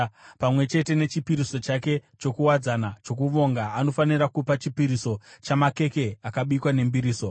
Pamwe chete nechipiriso chake chokuwadzana chokuvonga anofanira kupa chipiriso chamakeke akabikwa nembiriso.